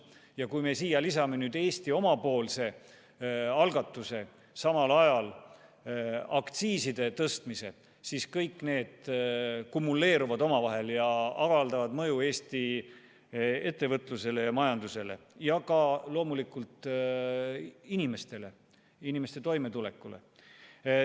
Ja kui me siia lisame Eesti algatuse samal ajal aktsiise tõsta, siis kõik need tegurid kumuleeruvad ja avaldavad mõju Eesti ettevõtlusele ja majandusele ja ka loomulikult inimestele, inimeste toimetulekule.